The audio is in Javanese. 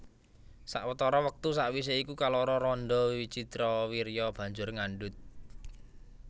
Sawetara wektu sawisé iku kaloro randha Wicitrawirya banjur ngandhut